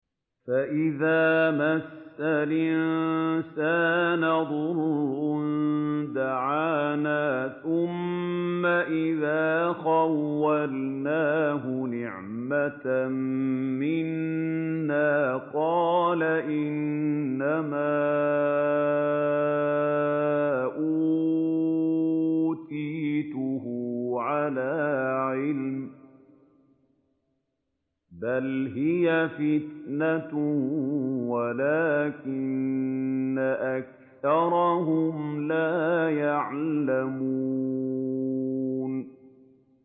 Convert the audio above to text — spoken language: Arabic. فَإِذَا مَسَّ الْإِنسَانَ ضُرٌّ دَعَانَا ثُمَّ إِذَا خَوَّلْنَاهُ نِعْمَةً مِّنَّا قَالَ إِنَّمَا أُوتِيتُهُ عَلَىٰ عِلْمٍ ۚ بَلْ هِيَ فِتْنَةٌ وَلَٰكِنَّ أَكْثَرَهُمْ لَا يَعْلَمُونَ